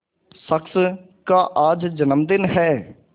शख्स का आज जन्मदिन है